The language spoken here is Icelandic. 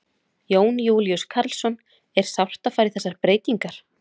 Jón Júlíus Karlsson: Er sárt að fara í þessar breytingar?